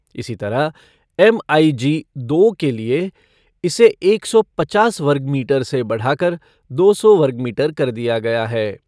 इसी तरह एमआईजी दो के लिये इसे एक सौ पचास वर्गमीटर से बढ़ाकर, दो सौ वर्गमीटर कर दिया गया है।